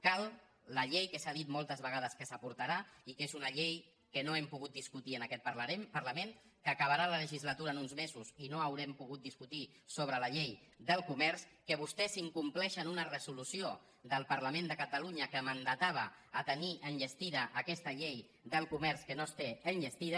cal la llei que s’ha dit moltes vegades que s’aportarà i que és una llei que no hem pogut discutir en aquest parlament que acabarà la legislatura en uns mesos i no haurem po·gut discutir sobre la llei del comerç que vostès incom·pleixen una resolució del parlament de catalunya que mandatava tenir enllestida aquesta llei del comerç que no es té enllestida